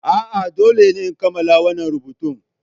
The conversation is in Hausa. A'a, dole in kammala wannan rubutun.